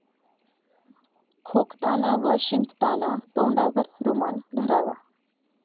खोकताना व शिंकताना तोंडावर रुमाल धरावा.